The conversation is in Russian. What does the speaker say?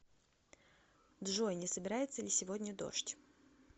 джой не собирается ли сегодня дождь